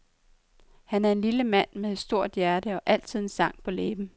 Han er en lille mand med et stort hjerte og altid en sang på læben.